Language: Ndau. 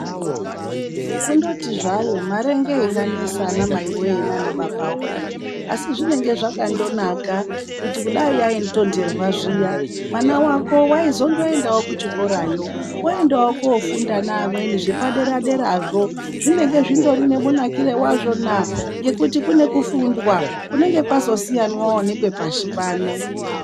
Kundoti zvayo mare ngeinganesa ana mai woye naana baba woye. Asi zvinenge zvakandonaka kuti kudai yaindonderwa zviya, mwana wako waizondoendawo kuchikorayo, oendawo koofundawo ngevamweni zvepadera dera zvo. Zvinenge zvindori nemunakiro wazvona, nekuti kune kufundwa kunenge kwazosiyanawo nekwepashi pano.